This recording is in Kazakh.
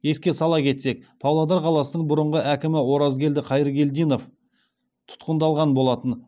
еске сала кетсек павлодар қаласының бұрынғы әкімі оразгелді қайыргелдинов тұтқындалған болатын